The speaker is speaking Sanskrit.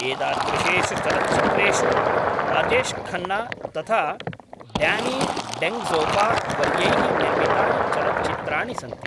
एतादृशेषु चलच्चित्रेषु राजेशखन्ना तथा ड्यानी डेन्जोङ्गपा वर्यैः​ निर्मितानि चलच्चित्राणि सन्ति।